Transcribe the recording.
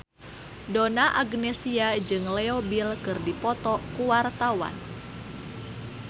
Donna Agnesia jeung Leo Bill keur dipoto ku wartawan